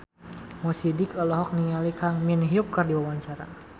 Mo Sidik olohok ningali Kang Min Hyuk keur diwawancara